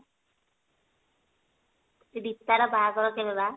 ରିତା ର ବାହାଘର କେବେ ବା